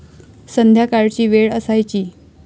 संध्याकाळची वेळ असायची.